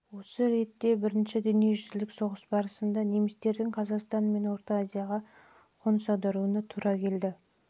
осы ретте бірінші дүниежүзілік соғыс барысында немістердің қазақстан мен орта азияға қоныс аудару процестеріне келсек соғыстың